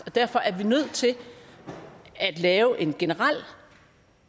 og derfor er vi nødt til at lave et generelt